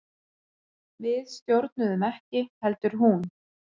Við stjórnuðum ekki heldur hún.